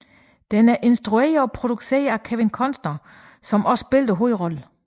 Den er instrueret og produceret af Kevin Costner som også spillede hovedrollen